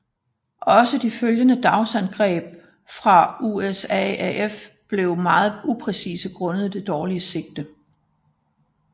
Også de følgende dagsangreb fra USAAF var meget upræcise grundet det dårlige sigte